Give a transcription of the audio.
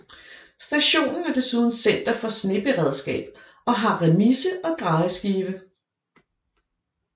Stationen er desuden center for sneberedskab og har remise og drejeskive